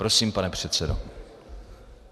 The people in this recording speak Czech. Prosím, pane předsedo.